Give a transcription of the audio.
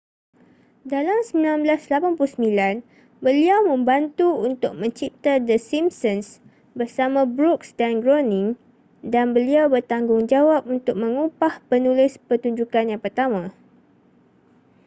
dalam 1989 beliau membantu untuk mencipta the simpsons bersama brooks dan groening dan beliau bertanggungjawab untuk mengupah penulis pertunjukan yang pertama